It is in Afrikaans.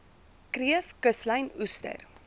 kreef kuslyn oester